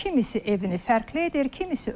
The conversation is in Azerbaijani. Kimisi evini fərqli edir.